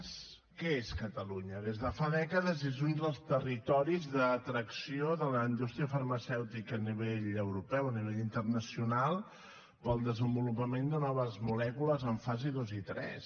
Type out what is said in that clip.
què és catalunya des de fa dècades és un dels territoris d’atracció de la indústria farmacèutica a nivell europeu a nivell internacional pel desenvolupament de noves molècules en fase dos i tres